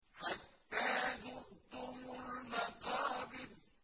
حَتَّىٰ زُرْتُمُ الْمَقَابِرَ